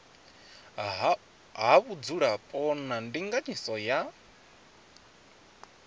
ha vhudzulapo na ndinganyiso ya